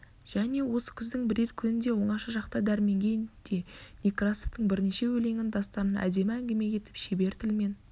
және осы күздің бірер күнінде оңаша шақта дәрменге де некрасовтың бірнеше өлеңін дастанын әдемі әңгіме етіп шебер тілмен